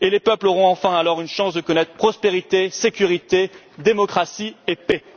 Les peuples auront enfin alors une chance de connaître prospérité, sécurité, démocratie et paix.